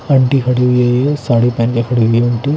aunty खड़ी हुई साड़ी पहन कर खड़ी हुई है अंटी --